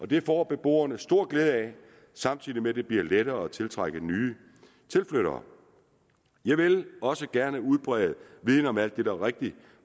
det får beboerne stor glæde af samtidig med at det bliver lettere at tiltrække nye tilflyttere jeg vil også gerne udbrede viden om alt det der